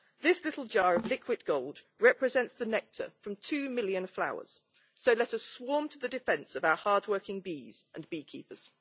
This little jar of liquid gold represents the nectar from two million flowers so let us swarm to the defence of our hardworking bees and beekeepers.